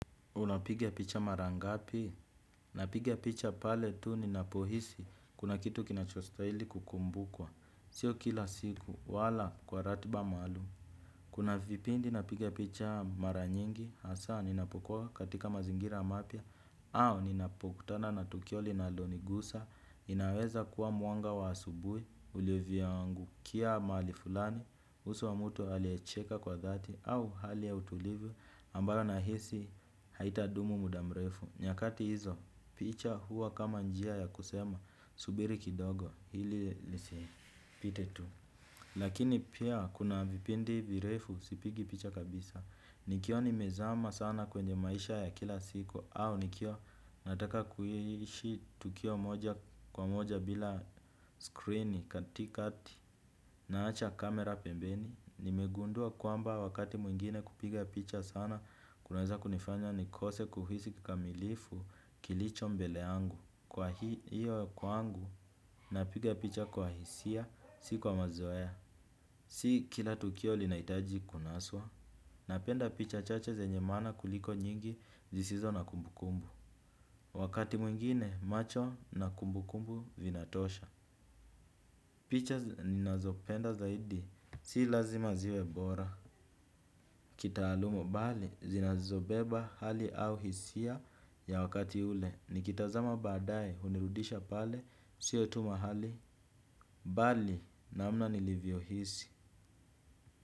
Unapiga picha mara ngapi, napiga picha pale tu ninapohisi, kuna kitu kinachostaili kukumbukwa, sio kila siku, wala kwa ratiba maalum. Kuna vipindi napiga picha mara nyingi, hasaa ninapokua katika mazingira mapya, au ninapokutana na tukio linalonigusa, inaweza kuwa mwanga wa asubui, ulivyoangukia mahali fulani, uso wa mutu aliecheka kwa dhati, au hali ya utulivu, ambayo nahisi haitadumu muda mrefu, nyakati hizo, picha huwa kama njia ya kusema, subiri kidogo, hili lisipite tu. Lakini pia kuna vipindi virefu sipigi picha kabisa. Nikio nimezama sana kwenye maisha ya kila siku au nikio nataka kuhishi tukio moja kwa moja bila screeni katikati naacha kamera pembeni. Nimegundua kwamba wakati mwingine kupiga picha sana kunaweza kunifanya nikose kuhisi kikamilifu kilicho mbele yangu. Kwa hiyo kwangu napiga picha kwa hisia si kwa mazoea. Si kila tukio linaitaji kunaswa. Napenda picha chache zenye maana kuliko nyingi zisizo na kumbukumbu. Wakati mwingine macho na kumbukumbu vinatosha. Picha ninazopenda zaidi si lazima ziwe bora kitaalumo bali, zinazobeba hali au hisia ya wakati ule. Nikitazama baadae, hunirudisha pale, sio tu mahali, bali namna nilivyohisi.